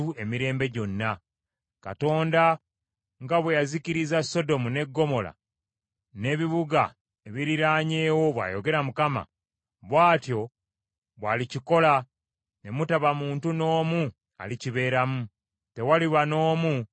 Katonda nga bwe yazikiriza Sodomu ne Ggomola n’ebibuga ebiriraanyeewo,” bw’ayogera Mukama , “bw’atyo bw’alikikola ne mutaba muntu n’omu alikibeeramu; tewaliba n’omu alikisigalamu.